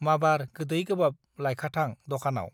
माबार गोदै गोबाब लायखाथां दकानाव।